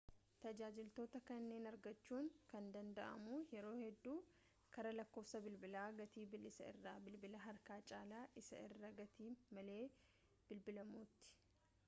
tajaajiloota kanniin argachuun kan danda'amu yeroo hedduu karaa lakkoofsa bilbilaa gatii bilisaa isa bilbila harka caalaa isaa irraa gatii malee bilbilamuuti